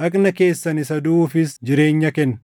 dhagna keessan isa duʼuufis jireenya kenna.